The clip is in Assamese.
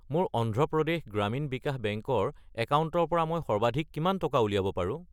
মোৰ অন্ধ্ৰ প্ৰদেশ গ্ৰামীণ বিকাশ বেংক ৰ একাউণ্টৰ পৰা মই সৰ্বাধিক কিমান টকা উলিয়াব পাৰো?